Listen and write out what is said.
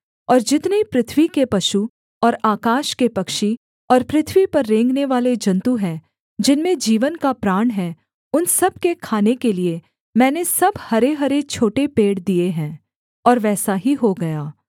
और जितने पृथ्वी के पशु और आकाश के पक्षी और पृथ्वी पर रेंगनेवाले जन्तु हैं जिनमें जीवन का प्राण हैं उन सब के खाने के लिये मैंने सब हरेहरे छोटे पेड़ दिए हैं और वैसा ही हो गया